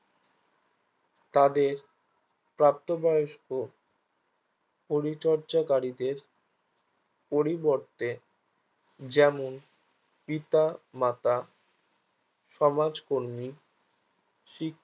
তাদের প্রাপ্তবয়স্ক পরিচর্চাকারীদের পরিবর্তে যেমন পিতা মাতা সমাজকর্মী